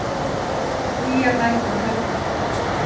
Hlýjar nætur um helgina